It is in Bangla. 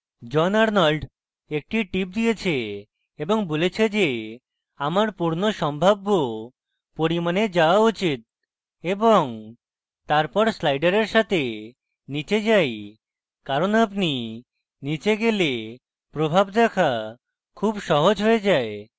john arnolds একটি tip দিয়েছে এবং বলেছে যে আমার পূর্ণ সম্ভাব্য পরিমাণে যাওয়া উচিত এবং তারপর slider সাথে নীচে যাই কারণ আপনি নীচে গেলে প্রভাব দেখা খুব সহজ হয়ে যায়